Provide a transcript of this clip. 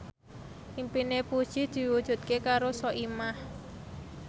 impine Puji diwujudke karo Soimah